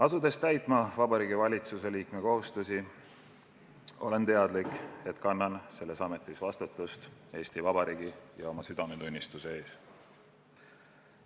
Asudes täitma Vabariigi Valitsuse liikme kohustusi, olen teadlik, et kannan selles ametis vastutust Eesti Vabariigi ja oma südametunnistuse ees.